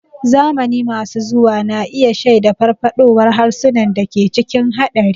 Zamani masu zuwa na iya shaida farfaɗowar harsunan da ke cikin haɗari.